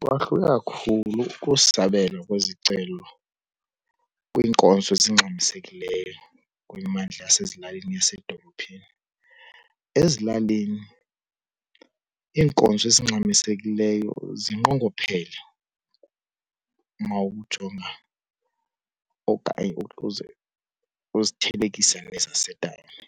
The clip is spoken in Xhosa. Kwahluka kakhulu ukusabelwa kwezicelo kwiinkonzo ezingxamisekileyo kwimimandla yasezilalini neyasedolophini. Ezilalini iinkonzo ezingxamisekileyo zinqongophele uma ukujongana okanye uzithelekisa nezasetawuni,